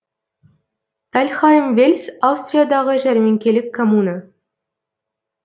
тальхайм вельс аустриядағы жәрмеңкелік коммуна